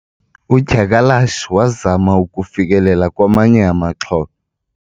udyakalashe wazama ukufikelela kwamanye amaxhoba